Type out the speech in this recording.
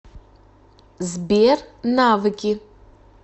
сбер навыки